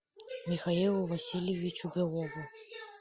михаилу васильевичу белову